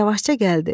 Yavaşca gəldi.